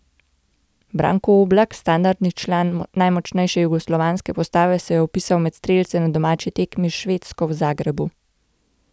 Branko Oblak, standardni član najmočnejše jugoslovanske postave, se je vpisal med strelce na domači tekmi s Švedsko v Zagrebu.